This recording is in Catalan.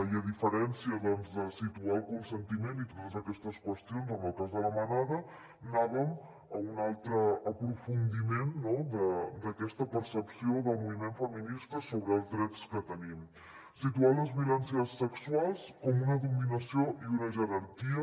i a diferència de situar el consentiment i totes aquestes qüestions en el cas de la manada anàvem a un altre aprofundiment d’aquesta percepció del moviment feminista sobre els drets que tenim situar les violències sexuals com una dominació i una jerarquia